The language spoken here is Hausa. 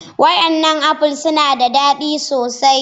Wadannan apples suna da dadi sosai